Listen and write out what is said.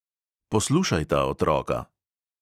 "Poslušajta, otroka."